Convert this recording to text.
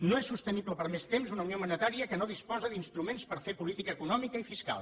no és sostenible per més temps una unió monetària que no disposa d’instruments per fer política econòmica i fiscal